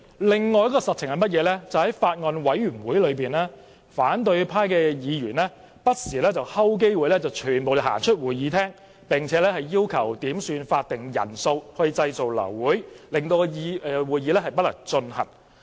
另一個實情是，在法案委員會的會議中，反對派議員不時伺機全體離開會議室，並要求點算法定人數製造流會，讓會議不能進行。